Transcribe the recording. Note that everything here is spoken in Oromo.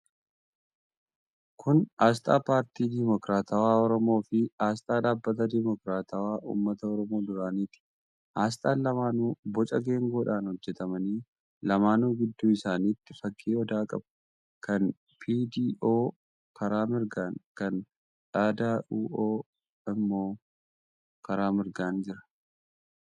Kun aasxaa Paartii Dimokiraatawaa Oromoo fi aasxaa Dhaabbata Dimokiraatawaa Uummata Oromoo duraaniiti. Aasxaan lamaanuu boca geengoodhaan hojjetamani. Lamaanuu gidduu isaaniitii fakkii odaa qabu. Kan PDO karaa mirgaan, kan Dh.D.U.O immoo karaa mirgaan jira.